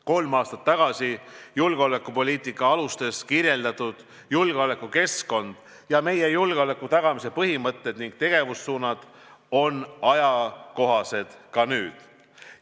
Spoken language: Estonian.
Kolm aastat tagasi julgeolekupoliitika alustes kirjeldatud julgeolekukeskkond ning meie julgeoleku tagamise põhimõtted ja tegevussuunad on ajakohased ka nüüd.